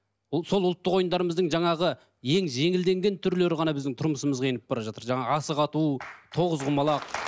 бұл сол ұлттық ойындарымыздың жаңағы ең жеңілденген түрлері ғана біздің тұрмысымызға еніп бара жатыр жаңағы асық ату тоғызқұмалақ